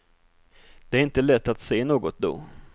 Det är inte lätt att se något då.